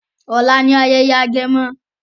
ọlá ní ayẹyẹ agẹmọ.